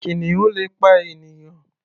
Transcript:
Kìnìun le pa ènìyàn.